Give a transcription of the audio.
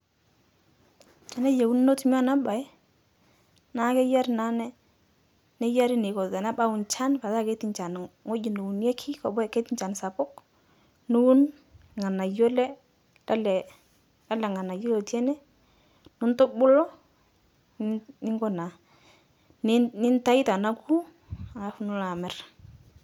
Teneyeuni notumi ana bai naa keyari naa neyari neiko nchan petaa keti nchan ng'oji neuneki keti nchan sapuk ng'oji neuneki niwun lg'anayo lelee ng'anaypi eti ene nintubulu ninko naa nintau tonoku alafu nilo amir.